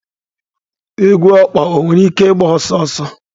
Egwu ọkpa nwere ike ịgba ọsọ ọsọ?